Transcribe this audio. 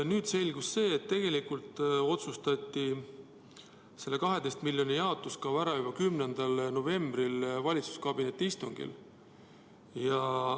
Nüüd selgus, et tegelikult otsustati selle 12 miljoni jaotamise kava ära juba 10. novembril valitsuskabineti istungil.